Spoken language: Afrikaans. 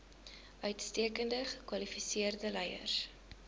uitstekend gekwalifiseerde leiers